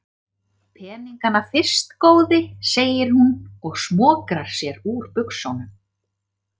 Peningana fyrst góði, segir hún og smokrar sér úr buxunum.